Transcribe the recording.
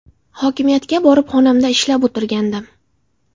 Hokimiyatga borib, xonamda ishlab o‘tirgandim.